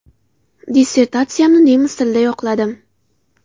Dissertatsiyamni nemis tilida yoqladim.